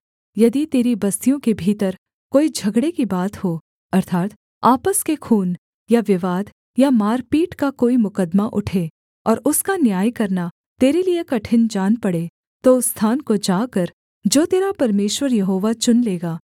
यदि तेरी बस्तियों के भीतर कोई झगड़े की बात हो अर्थात् आपस के खून या विवाद या मारपीट का कोई मुकद्दमा उठे और उसका न्याय करना तेरे लिये कठिन जान पड़े तो उस स्थान को जाकर जो तेरा परमेश्वर यहोवा चुन लेगा